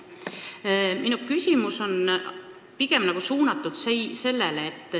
Minu küsimus aga on selline.